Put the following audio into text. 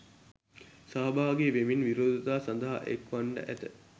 සහභාගි වෙමින් විරෝධතා සඳහා එක් වන්නට ඇත.